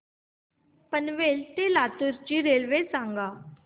पनवेल ते लातूर ची रेल्वे सांगा